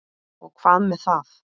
Og hvað með það!